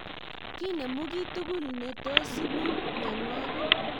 Kinemu kiy tugul ne to sipu mianwogik